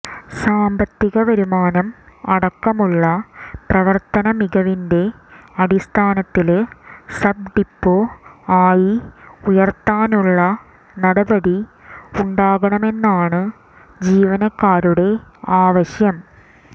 സാമ്പത്തിക വരുമാനം അടക്കമുള്ള പ്രവര്ത്തനമികവിന്റെ അടിസ്ഥാനത്തില് സബ്ഡിപ്പോ ആയി ഉയര്ത്താനുള്ള നടപടി ഉണ്ടാകണമെന്നാണ് ജീവനക്കാരുടെ ആവശ്യം